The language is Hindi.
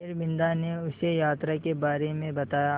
फिर बिन्दा ने उसे यात्रा के बारे में बताया